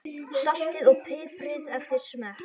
Saltið og piprið eftir smekk.